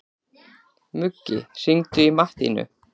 Muggi, hringdu í Mattínu.